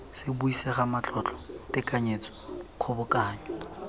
se buisega matlotlo tekanyetso kgobokanyo